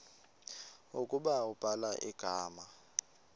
ukuba ubhala igama